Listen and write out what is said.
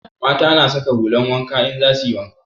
Mata na saka hulan wanka in za suyi wanka